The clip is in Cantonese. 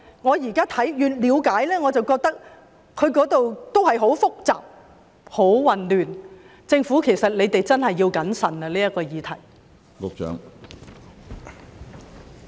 我現在越了解便越認為當中很複雜、很混亂，政府真的要謹慎處理這個議題。